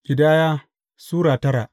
Ƙidaya Sura tara